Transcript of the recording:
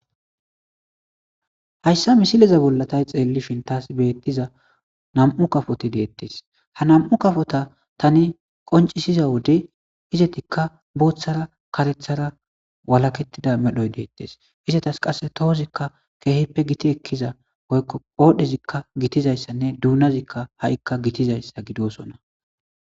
Hayssa misileza bolla tay xeellishin taas beettiza nam7u kafoti deettes ha nam7u kafota tani qoncisiza wode izetikka booththara karethara walakettida medhoy deettes izatas qasse tohozikka keehippe giti ekkiza oykko oodhezikka gitizayssanne duunazikka ha7ikka gitizayssa gidosona.